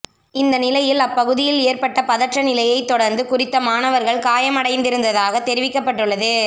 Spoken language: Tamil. இந்தநிலையில் அப் பகுதியில் ஏற்பட்ட பதற்ற நிலையைத் தொடர்ந்து குறித்த மாணவர்கள் காயமடைந்திருந்ததாக தெரிவிக்கப்பட்டுள்ளது